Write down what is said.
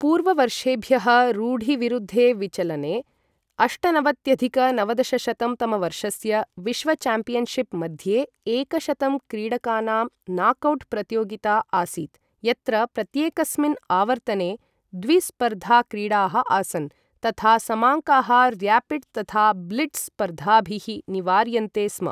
पूर्ववर्षेभ्यः रूढिविरुद्धे विचलने, अष्टनवत्यधिक नवदशशतं तमवर्षस्य विश्वच्याम्पियन्शिप् मध्ये एकशतंक्रीडकानां नाकौट् प्रतियोगिता आसीत्, यत्र प्रत्येकस्मिन् आवर्तने द्वि स्पर्धा क्रीडाः आसन्, तथा समाङ्काः र्यापिड् तथा ब्लिट्ज़् स्पर्धाभिः निवार्यन्ते स्म।